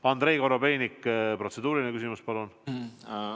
Andrei Korobeinik, protseduuriline küsimus, palun!